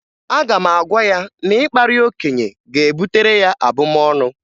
Aga m agwa ya na ịkparị okenye ga-ebutere ya abụmọnụ